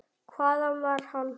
Hvaðan var hann?